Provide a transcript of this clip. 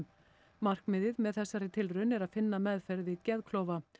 markmiðið með þessari tilraun er að finna meðferð við geðklofa